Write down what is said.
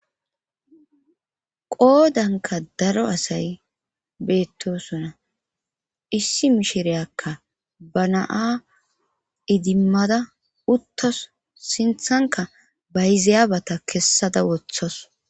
Qoodanka daro asay beettosona issi mishireyakka ba naa idimmada uttas sinthanka bayzayabata kessada woththas.